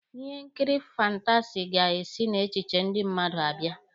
Ihe nkiri fantasi ga-esi n'echiche ndị mmadụ abịa.